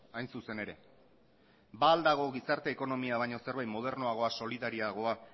hain zuzen ere ba al dago gizarte ekonomia baino zerbait modernoagoa solidarioagoa